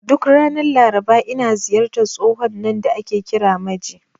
Duk ranar Laraba, ina ziyartar tsohon nan da ake kira Maje.